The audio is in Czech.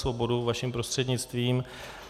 Svobodu vaším prostřednictvím.